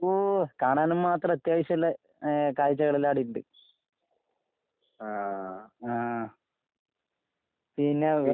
ഓ കാണാനും മാത്രം അത്യാവശ്യോള്ള ഏഹ് കാഴ്ച്ചകളെല്ലാം അവടെയിണ്ട്. ആഹ്. പിന്നെ വ്